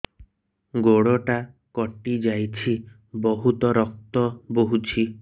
ଗୋଡ଼ଟା କଟି ଯାଇଛି ବହୁତ ରକ୍ତ ବହୁଛି